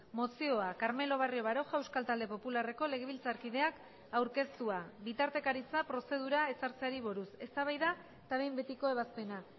mozioa carmelo barrio baroja euskal talde popularreko legebiltzarkideak aurkeztua bitartekaritza prozedura ezartzeari buruz eztabaida eta behin betiko ebazpena